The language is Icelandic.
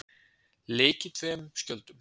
Leikið tveim skjöldum